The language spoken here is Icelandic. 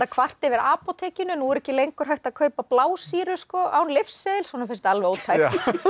kvarta yfir apótekinu hún er ekki lengur hægt að kaupa blásýru án lyfseðils honum finnst þetta alveg ótækt